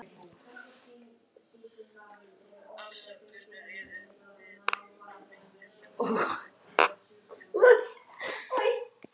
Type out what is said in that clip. Þær voru honum eins kunnar og gatan framan við húsið.